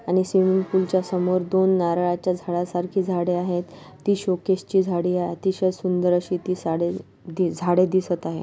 आणि स्विमिंग पुलच्या समोर दोन नारळाच्या झाडा सारखी झाडे आहेत ती शोकेशचे झाडे अतिशय सुंदर असे ती साडे झाड दिसत आहे.